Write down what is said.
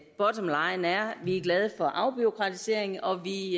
vi er glade for afbureaukratisering og vi